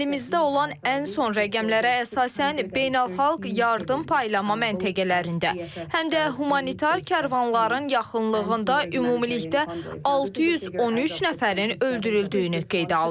Əlimizdə olan ən son rəqəmlərə əsasən beynəlxalq yardım paylama məntəqələrində, həm də humanitar karvanların yaxınlığında ümumilikdə 613 nəfərin öldürüldüyünü qeydə almışıq.